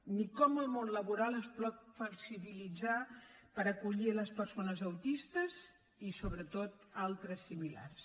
ni com el món laboral es pot flexibilitzar per acollir les persones autistes i sobretot altres similars